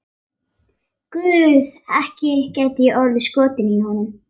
Guð, ekki gæti ég orðið skotin í honum.